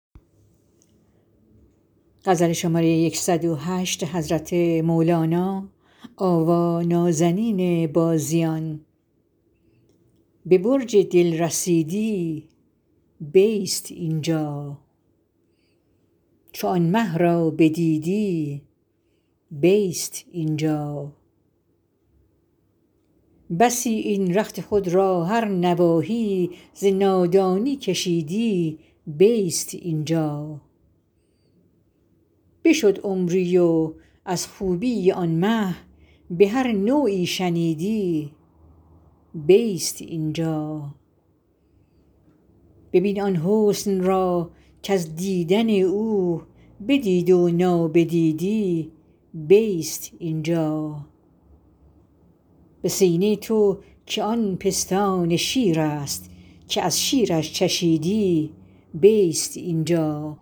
به برج دل رسیدی بیست این جا چو آن مه را بدیدی بیست این جا بسی این رخت خود را هر نواحی ز نادانی کشیدی بیست این جا بشد عمری و از خوبی آن مه به هر نوعی شنیدی بیست این جا ببین آن حسن را کز دیدن او بدید و نابدیدی بیست این جا به سینه تو که آن پستان شیرست که از شیرش چشیدی بیست این جا